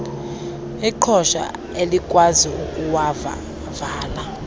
iqhosha elikwazi ukuwavala